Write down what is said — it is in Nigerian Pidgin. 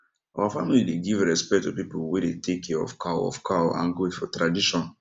our family dey give respect to people wey dey take care of cow of cow and goat for tradition